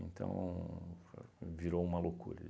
Então, virou uma loucura.